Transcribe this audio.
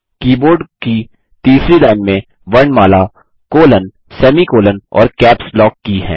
keyboard की तीसरी line में वर्णमाला कोलोन सेमीकोलों और कैप्स लॉक की हैं